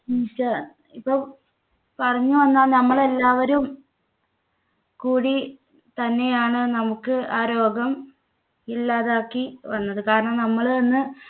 ഇപ്പോ പറഞ്ഞു വന്നാൽ നമ്മൾ എല്ലാവരും കൂടി തന്നെയാണ് നമുക്ക് ആ രോഗം ഇല്ലാതാക്കി വന്നത്. കാരണം നമ്മൾ തന്നെ